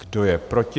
Kdo je proti?